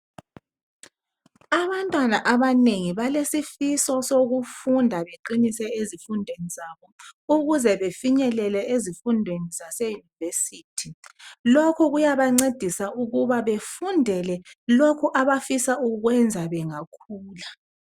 Abantwana abanengi balesifiso sokufunda beqinise ezifundweni zabo ukuze befinyelele ezifundweni zaseYunivesi. Lokhu kuyabancedisa ukuba befundele lokho abafisa ukukwenza bengakhula.